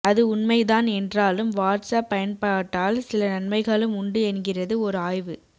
அது உண்மைதான் என்றாலும் வாட்ஸ் அப் பயன்பாட்டால் சில நன்மைகளும் உண்டு என்கிறது ஒரு ஆய்வு